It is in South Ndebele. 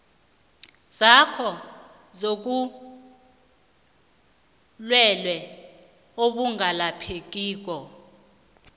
zakho zobulwelwe obungalaphekiko